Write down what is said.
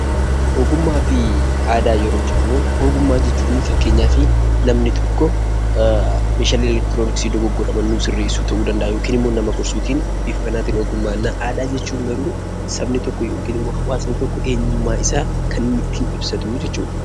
Ogummaa fi aadaa yeroo jennu ogummaa jechun fakkeenyafi namni tokko meeshaalee elektirooniksii dogoggoraman nuu sirreessuu ta'uu danda'a yookin immoo nama gorsuutiin bifa kanaatiin ogummaa jenna. Aadaa jechuun garuu sabni tokko yokin immoo hawaasni tokko eenyummaa isaa kan inni ittiin ibsatuu jechuudha.